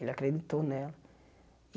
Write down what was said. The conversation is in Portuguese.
Ele acreditou nela.